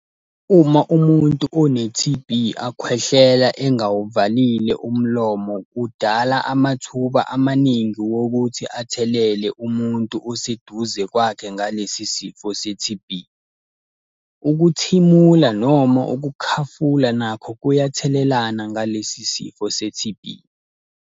Uma umuntu one-T_B akhwehlela engawuvalile umlomo, kudala amathuba amaningi wokuthi athelele umuntu oseduze kwakhe ngalesi sifo se-T_B. Ukuthimula noma ukukhafula nakho kuyathelelana ngalesi sifo se-T_B.